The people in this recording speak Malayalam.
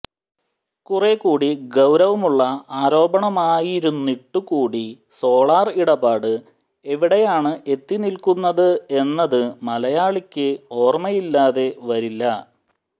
കുറേക്കൂടി ഗൌരവമുള്ള ആരോപണമായിരുന്നിട്ട് കൂടി സോളാര് ഇടപാട് എവിടെയാണ് എത്തിനില്ക്കുന്നത് എന്നത് മലയാളിക്ക് ഓര്മയില്ലാതെ വരില്ല